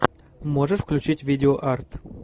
можешь включить видео арт